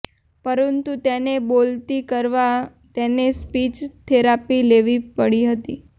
પરંતુ તેને બોલતી કરવા તેને સ્પીચ થેરાપી લેવી પડી હતી